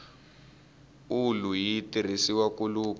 ulu yi tirhisiwa ku luka